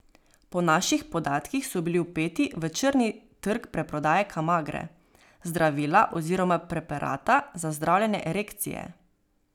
Po naših podatkih so bili vpeti v črni trg preprodaje kamagre, zdravila oziroma preparata za zdravljenje erekcije.